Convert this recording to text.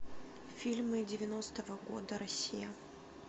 фильмы девяностого года россия